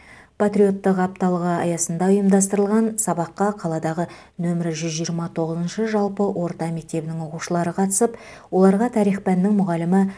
патриоттық апталығы аясында ұйымдастырылған сабаққа қаладағы нөмірі жүз жиырма тоғызыншы жалпы орта мектебінің оқушылары қатысып оларға тарих пәнінің мұғалімі